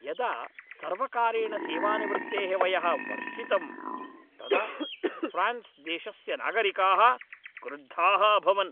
यदा सर्वकारेण सेवानिवृत्तेः वयः वर्धितं तदा फ़्रान्स् देशस्य नागरिकाः क्रुद्धाः अभवन्।